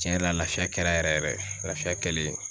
Tiɲɛ yɛrɛ la lafiya kɛra yɛrɛ yɛrɛ lafiya kɛlen